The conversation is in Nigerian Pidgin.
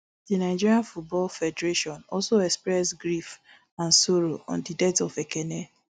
di nigeria football federation also express grief and sorrow on di death of ekene